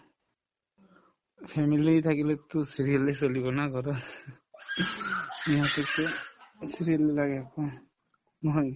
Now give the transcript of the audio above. family থাকিলেতো serial য়ে চলিব না ঘৰত ইহঁতেতো serial বিলাকে